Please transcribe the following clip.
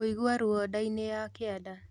Kũigua ruo ndainĩ ya kĩanda